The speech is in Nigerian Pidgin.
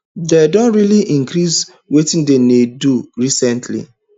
dem don really increase wetin dem dey do recently